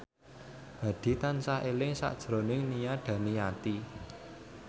Hadi tansah eling sakjroning Nia Daniati